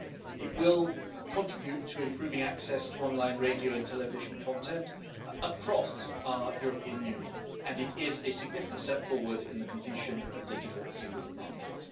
It will contribute to improving access to online radio and television content across our European Union, and it is a significant step forward in the completion of the digital single market.